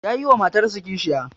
Yayi wa matarsa kishiya